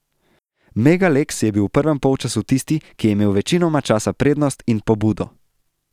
Mega Leks je bil v prvem polčasu tisti, ki je imel večinoma časa prednost in pobudo.